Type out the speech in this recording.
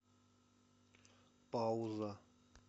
пауза